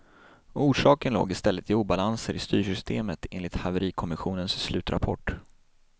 Orsaken låg i stället i obalanser i styrsystemet, enligt haverikommissionens slutrapport.